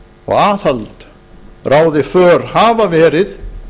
og aðhald ráði för hafa verið